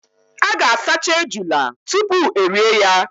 A ga- asacha ejula tupu erie ya.